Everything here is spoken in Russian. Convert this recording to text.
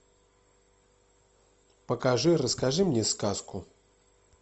покажи расскажи мне сказку